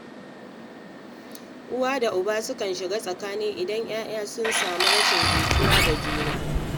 Uwa da uba sukan shiga tsakani idan ’ya’ya sun samu rashin jituwa da juna.